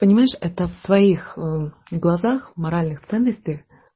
понимаешь это в твоих глазах моральных ценностях